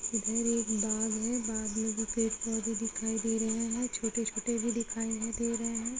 इधर एक बाग़ है बाग़ में भी पेड़-पौधे दिखाई दे रहे हैं छोटे-छोटे भी ही दिखाई दे रहे हैं।